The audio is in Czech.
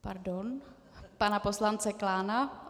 Pardon, pana poslance Klána.